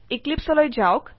এক্লিপছে লৈ যাওক